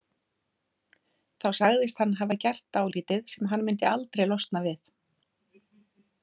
Þá sagðist hann hafa gert dálítið sem hann myndi aldrei losna við.